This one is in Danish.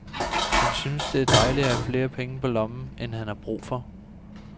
Han syntes det er dejligt at have flere penge på lommen, end han har brug for.